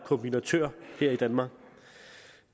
kombinatører her i danmark